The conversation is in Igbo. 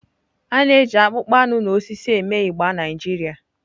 A na-eji akpụkpọ anụ na osisi eme igba Naijiria.